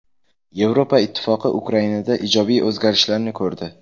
Yevropa Ittifoqi Ukrainada ijobiy o‘zgarishlarni ko‘rdi.